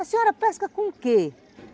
A senhora pesca com o quê?